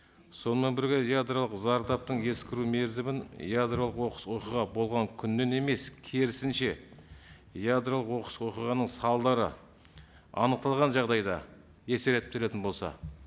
сонымен бірге ядролық зардаптың ескіру мерзімін ядролық оқыс оқиға болған күннен емес керісінше ядролық оқыс оқиғаның салдары анықталған жағдайда есептелетін болса